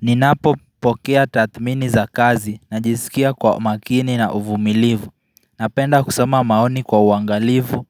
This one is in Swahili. Ninapopokea tatmini za kazi najisikia kwa makini na uvumilivu Napenda kusoma maoni kwa uangalivu